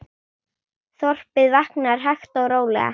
Þorpið vaknar hægt og rólega.